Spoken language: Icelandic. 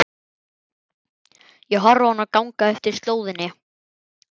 Ég horfi á hana ganga eftir slóðinni.